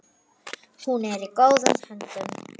Hún er í góðum höndum.